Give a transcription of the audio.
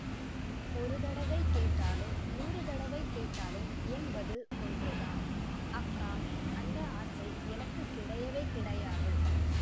ஒரு தடவை கேட்டாலும் நூறு தடவை கேட்டாலும் என் பதில் ஒன்றுதான் அக்கா அந்த ஆசை எனக்கு கிடையவே கிடையாது